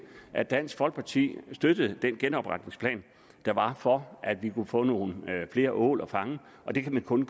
at dansk folkeparti støttede den genopretningsplan der var for at vi kunne få nogle flere ål at fange og det kan der kun